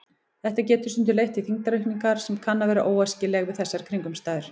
Þetta getur stundum leitt til þyngdaraukningar sem kann að vera óæskileg við þessar kringumstæður.